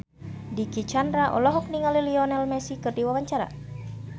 Dicky Chandra olohok ningali Lionel Messi keur diwawancara